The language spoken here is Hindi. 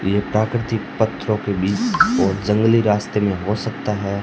ये प्राकृतिक पत्थरों के बीच और जंगली रास्ते में हो सकता है।